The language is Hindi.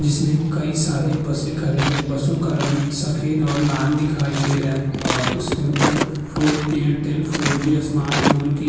जिसमे काई सारी बसे खड़ी हैं। बसों का रंग सफेद और लाल दिखाई दे रहा है और उसके ऊपर four Airtel four G smartphone की --